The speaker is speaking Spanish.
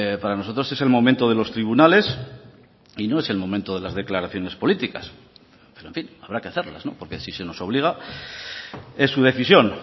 para nosotros es el momento de los tribunales y no es el momento de las declaraciones políticas pero en fin habrá que hacerlas porque si se nos obliga es su decisión